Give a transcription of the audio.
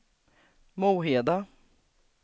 Moheda